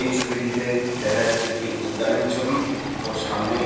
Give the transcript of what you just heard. এই ছবিটিতে দেখা যাচ্ছে একটি উদ্যানের ছবি ও সামনে